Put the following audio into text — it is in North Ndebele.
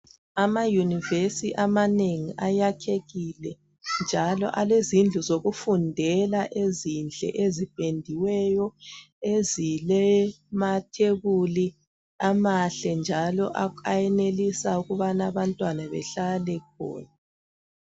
Ama yunivesi amanengi ayakhekile njalo alezindlu zokufundela ezinhle ezipendiweyo ezilamathebuli amahle njalo ayenelisa ukubana abantwana behlale khona.